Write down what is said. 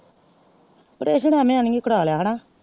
ਪਰੇਸ਼ਨ ਐਵੇਂ ਹੀ ਹਨ ਕਰ ਲਿਆ ਹੈਨਾ।